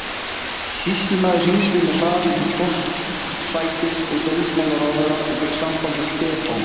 Sýslumaður hringdi með hraði til forsætis- og dómsmálaráðherra og fékk samband við Stefán